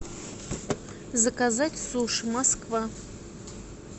заказать суши москва